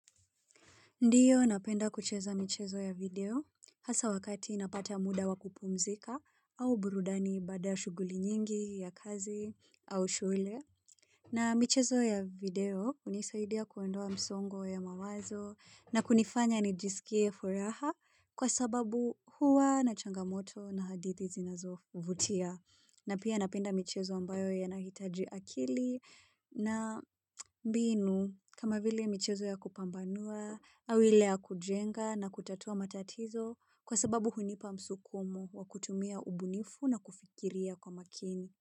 Ndiyo napenda kucheza michezo ya video hasa wakati napata muda wa kupumzika au burudani baada shughuli nyingi ya kazi au shule. Na michezo ya video hunisaidia kuondoa msongo ya mawazo na kunifanya nijisikie furaha kwa sababu huwa na changamoto na hadithi zinazo vutia. Na pia napenda michezo ambayo yanahitaji akili na mbinu kama vile michezo ya kupambanua, au ile ya kujenga na kutatua matatizo kwa sababu hunipa msukumo wa kutumia ubunifu na kufikiria kwa makini.